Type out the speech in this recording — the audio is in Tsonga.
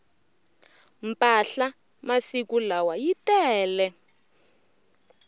mpahla masiku lawa yi tele